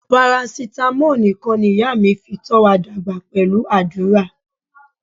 Parasitamo nikan niya mi fi to wa dagba pelu adura.